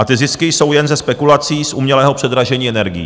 A ty zisky jsou jen ze spekulací z umělého předražení energií.